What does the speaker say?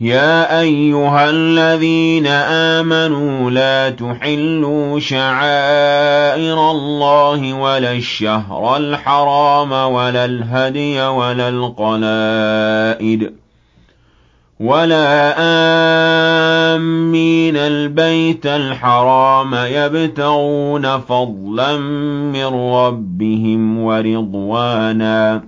يَا أَيُّهَا الَّذِينَ آمَنُوا لَا تُحِلُّوا شَعَائِرَ اللَّهِ وَلَا الشَّهْرَ الْحَرَامَ وَلَا الْهَدْيَ وَلَا الْقَلَائِدَ وَلَا آمِّينَ الْبَيْتَ الْحَرَامَ يَبْتَغُونَ فَضْلًا مِّن رَّبِّهِمْ وَرِضْوَانًا ۚ